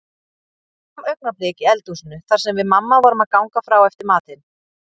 Loks kom augnablik í eldhúsinu þar sem við mamma vorum að ganga frá eftir matinn.